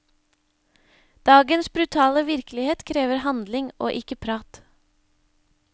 Dagens brutale virkelighet krever handling, og ikke prat.